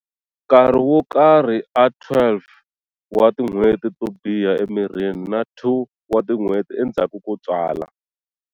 Nkarhi wo karhi a 12 wa tin'hweti to biha emirini na 2 wa tin'hweti endzhaku ko tswala.